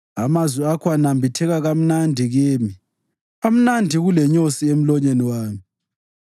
Amazwi akho anambitheka kamnandi kimi, amnandi kulenyosi emlonyeni wami!